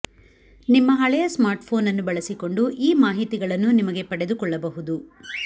ನಿಮ್ಮ ಹಳೆಯ ಸ್ಮಾರ್ಟ್ಫೋನ್ ಅನ್ನು ಬಳಸಿಕೊಂಡು ಈ ಮಾಹಿತಿಗಳನ್ನು ನಿಮಗೆ ಪಡೆದುಕೊಳ್ಳಬಹುದು